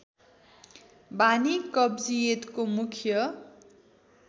बानी कब्जियतको मुख्य